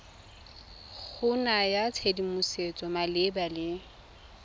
go naya tshedimosetso malebana le